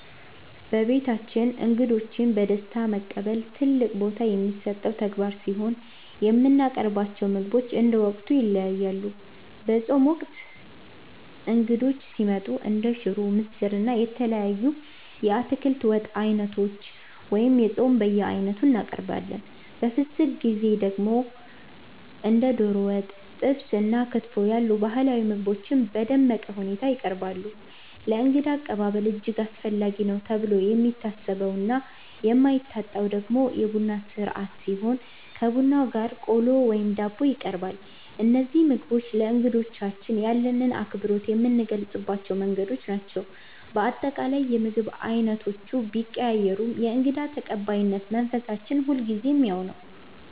በቤታችን እንግዶችን በደስታ መቀበል ትልቅ ቦታ የሚሰጠው ተግባር ሲሆን፣ የምናቀርባቸው ምግቦች እንደ ወቅቱ ይለያያሉ። በጾም ወቅት እንግዶች ሲመጡ እንደ ሽሮ፣ ምስር፣ እና የተለያዩ የአትክልት ወጥ ዓይነቶችን (የጾም በየዓይነቱ) እናቀርባለን። በፍስግ ወቅት ደግሞ እንደ ዶሮ ወጥ፣ ጥብስ እና ክትፎ ያሉ ባህላዊ ምግቦች በደመቀ ሁኔታ ይቀርባሉ። ለእንግዳ አቀባበል እጅግ አስፈላጊ ነው ተብሎ የሚታሰበውና የማይታጣው ደግሞ የቡና ሥርዓት ሲሆን፣ ከቡናው ጋር ቆሎ ወይም ዳቦ ይቀርባል። እነዚህ ምግቦች ለእንግዶቻችን ያለንን አክብሮት የምንገልጽባቸው መንገዶች ናቸው። በአጠቃላይ፣ የምግብ ዓይነቶቹ ቢቀያየሩም የእንግዳ ተቀባይነት መንፈሳችን ሁልጊዜም ያው ነው።